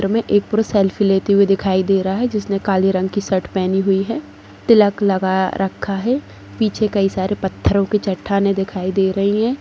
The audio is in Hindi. हमे एक पुरुष सेल्फ़ी लेते हुए दिखाई दे रहा है जिसने काले रंग कि शर्ट पहनी हुई है तिलक लगा रखा है पीछे कई सारे पत्थरों कि चट्टानें दिखाई दे रही है।